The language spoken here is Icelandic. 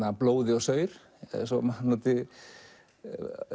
blóði og saur svo maður